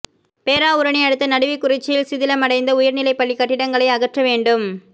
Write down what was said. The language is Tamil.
பேராவூரணி அடுத்த நடுவிக்குறிச்சியில் சிதிலமடைந்த உயர் நிலைப்பள்ளி கட்டிடங்களை அகற்ற வேண்டும்